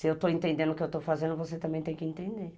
Se eu estou entendendo o que eu estou fazendo, você também tem que entender.